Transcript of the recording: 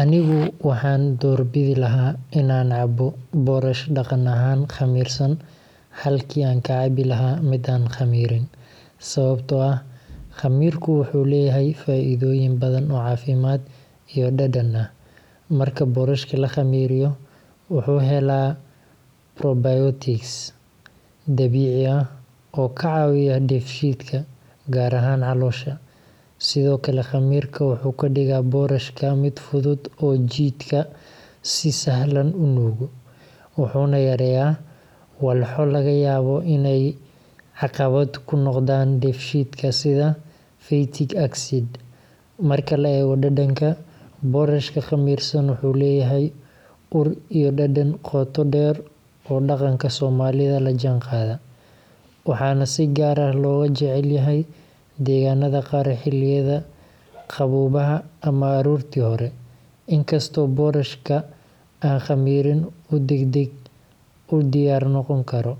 Anigu waxaan doorbidi lahaa in aan cabbo boorash dhaqan ahaan khamiirsan halkii aan ka cabbi lahaa mid aan khamiirin, sababtoo ah khamiirku wuxuu leeyahay faa’iidooyin badan oo caafimaad iyo dhadhan ah. Marka boorashka la khamiiriyo, wuxuu helaa probiotics dabiici ah oo ka caawiya dheefshiidka, gaar ahaan caloosha. Sidoo kale, khamiirka wuxuu ka dhigaa boorashka mid fudud oo jidhka si sahlan u nuugo, wuxuuna yareeyaa walxo laga yaabo inay caqabad ku noqdaan dheefshiidka sida phytic acid. Marka la eego dhadhanka, boorashka khamiirsan wuxuu leeyahay ur iyo dhadhan qoto dheer oo dhaqanka soomaalida la jaanqaada, waxaana si gaar ah looga jecel yahay deegaannada qaar xilliyada qaboobaha ama aroortii hore. Inkastoo boorashka aan khamiirin uu degdeg u diyaar noqon karo,